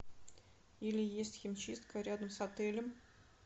или есть химчистка рядом с отелем